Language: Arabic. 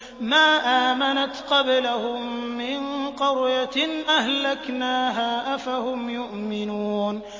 مَا آمَنَتْ قَبْلَهُم مِّن قَرْيَةٍ أَهْلَكْنَاهَا ۖ أَفَهُمْ يُؤْمِنُونَ